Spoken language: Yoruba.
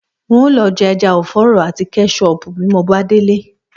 N óò lo̩ je̩ e̩ja ò̩fó̩ò̩rò̩ àti ké̩sóò̩pù bí mo bá délé